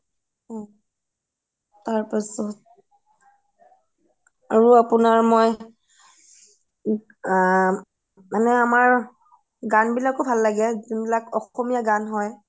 ও তাৰপাছত আৰু আপোনাৰ মই আ মানে আমাৰ গান বিলাকও ভাল লাগে যোন বিলাক অসমীয়া গান হয়